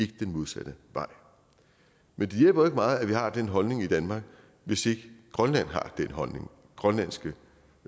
den modsatte vej men det hjælper jo meget at vi har den holdning i danmark hvis ikke grønland det grønlandske